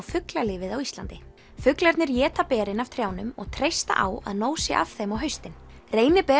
fuglalífið á Íslandi fuglarnir éta berin af trjánum og treysta á að nóg sé af þeim á haustin